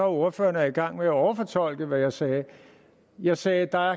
ordføreren er i gang med at overfortolke hvad jeg sagde jeg sagde at der